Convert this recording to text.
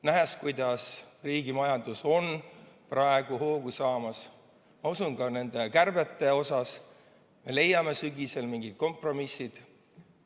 Nähes, kuidas riigi majandus on praegu hoogu saamas, ma usun, et leiame ka nende kärbete osas sügisel mingid kompromissid.